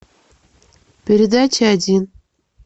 передача один